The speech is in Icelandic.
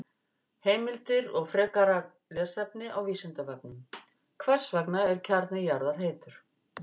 Heimildir og frekara lesefni á Vísindavefnum: Hvers vegna er kjarni jarðar heitur?